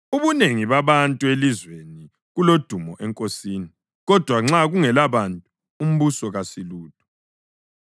Ubunengi babantu elizweni kuludumo enkosini, kodwa nxa kungelabantu umbusi kasilutho.